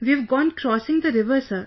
We've gone crossing the river Sir